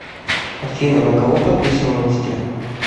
афина на кого подписан в инсте